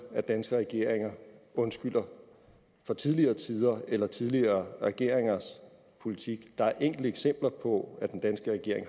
at danske regeringer undskylder for tidligere tiders eller tidligere regeringers politik der er enkelte eksempler på at den danske regering